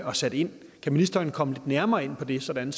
og sat ind kan ministeren komme lidt nærmere ind på det sådan